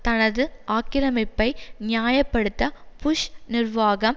தனது ஆக்கிரமிப்பை நியாய படுத்த புஷ் நிர்வாகம்